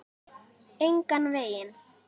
Engan veginn